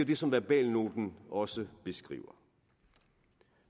det som verbalnoten også beskriver